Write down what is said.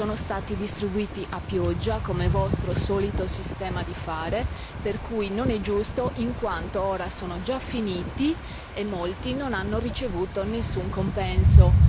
Sono stati distribuiti a pioggia come siete soliti fare, per cui non è giusto, in quanto ora sono già finiti e molti non hanno ricevuto nessun compenso.